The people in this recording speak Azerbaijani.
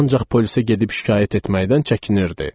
Ancaq polisə gedib şikayət etməkdən çəkinirdi.